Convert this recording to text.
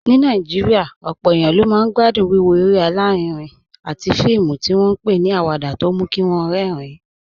Ní Nàìjíríà, ọ̀pọ̀ èèyàn ló máa ń gbádùn wíwo eré alárinrin àti fíìmù tí wọ́n ń pè ní awada tó mú kí wọ́n rẹ́rìn-ín